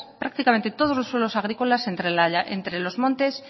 prácticamente todos los suelos agrícolas entre los montes